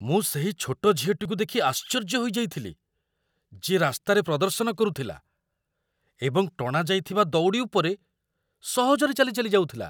ମୁଁ ସେହି ଛୋଟ ଝିଅଟିକୁ ଦେଖି ଆଶ୍ଚର୍ଯ୍ୟ ହୋଇଯାଇଥିଲି ଯିଏ ରାସ୍ତାରେ ପ୍ରଦର୍ଶନ କରୁଥିଲା ଏବଂ ଟଣାଯାଇଥିବା ଦଉଡ଼ି ଉପରେ ସହଜରେ ଚାଲିଚାଲି ଯାଉଥିଲା।